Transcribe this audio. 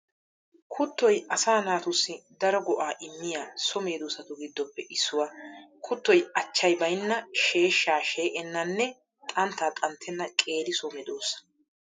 Kuttoy asaa naatussi daro go'aa immiya so medoosatu giddoppe issuwaa. Kuttoy achchay baynna, sheeshshaa she'ennanne xanttaa xanttenna qeeri so medoosa.